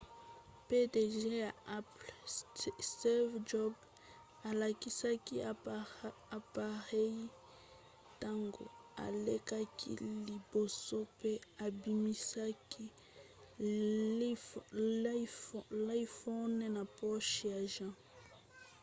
pdg ya apple steve jobs alakisaki apareyi ntango alekaki liboso pe abimisaki l'iphone na poche ya jean